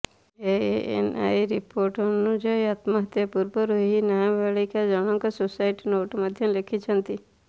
ANI report ଅନୁଯାୟୀ ଆତ୍ମହତ୍ୟା ପୂର୍ବରୁ ଏହି ନାବାଳିକା ଜଣଙ୍କ ସୁଇସାଇଡ୍ ନୋଟ୍ ମଧ୍ୟ ଲେଖିଛନ୍ତି